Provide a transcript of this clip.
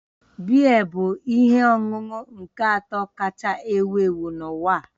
Biya bụ ihe ọṅụṅụ nke atọ kacha ewu ewu n'uwa